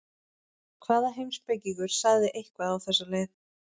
Hvaða heimspekingur sagði eitthvað á þessa leið?